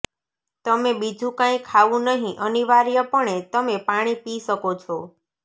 તમે બીજું કાંઇ ખાવું નહીં અનિવાર્યપણે તમે પાણી પી શકો છો